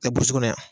Ɛɛ burusi kɔnɔ yan